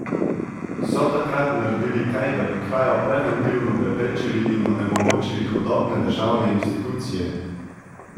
So takrat naredili kaj, da bi krajo preventivno preprečili in onemogočili hudobne državne institucije?